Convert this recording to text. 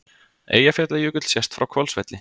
Eyjafjallajökull sést frá Hvolsvelli.